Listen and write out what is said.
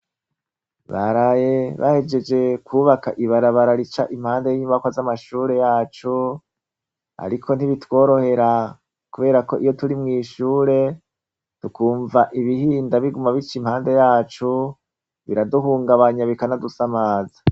Baraye bahejeje kwubaka ibarabara rica impande y'inyubakwa z'amashure yacu, ariko ntibitworohera kubera ko iyo turi mw'ishure, tukumva ibihinda biguma bica impande yacu biraduhungabanya bikanadusamaza.